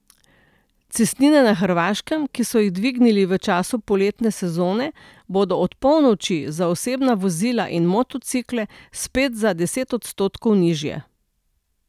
Cestnine na Hrvaškem, ki so jih dvignili v času poletne sezone, bodo od polnoči za osebna vozila in motocikle spet za deset odstotkov nižje.